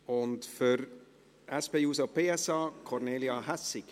Für die SP-JUSO-PSA: Kornelia Hässig.